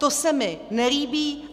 To se mi nelíbí.